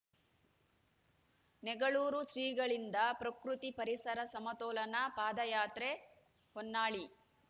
ನೆಗಳೂರು ಶ್ರಿಗಳಿಂದ ಪ್ರಕೃತಿ ಪರಿಸರ ಸಮತೋಲನ ಪಾದಯಾತ್ರೆ ಹೊನ್ನಾಳಿ